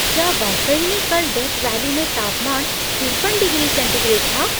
क्या वाकई में कल डेथ वैली में तापमान तिरपन डिग्री सेंटीग्रेड था?